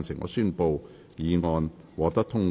我宣布議案獲得通過。